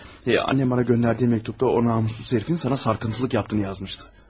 Anam mənə göndərdiyi məktubda o namussuz hərifin sənə sataşdığını yazmışdı.